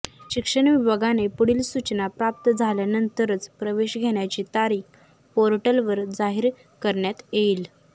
शिक्षण विभागाने पुढील सूचना प्राप्त झाल्यानंतरच प्रवेश घेण्याची तारीख पोर्टलवर जाहीर करण्यात येईल